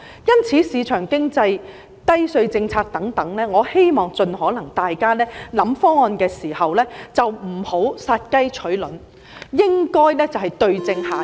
因此，有鑒於市場經濟、低稅政策等，我希望大家考慮方案時，盡可能不要殺雞取卵，而是應該對症下藥。